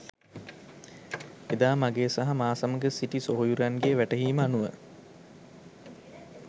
එදා මගේ සහ මා සමඟ සිට සොහොයුරන්ගේ වැටහීමට අනුව